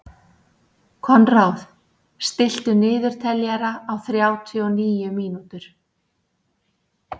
Konráð, stilltu niðurteljara á þrjátíu og níu mínútur.